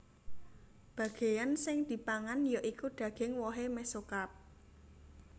Bagéyan sing dipangan ya iku daging wohé mesokarp